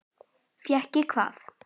Fékk ég hvað?